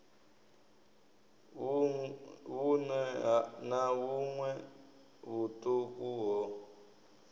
vhuṋwe na vhuṋwe vhuṱuku ho